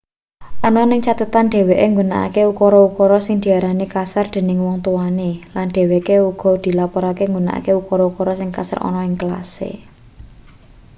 ana ning cathetane dheweke nggunakake ukara-ukara sing diarani kasar dening wong tuwane lan dheweke uga dilaporke nggunakake ukara-ukara sing kasar ana ning kelase